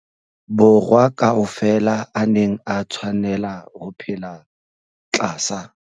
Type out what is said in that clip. Borwa ka ofela a neng a tshwanela ho phela tlasa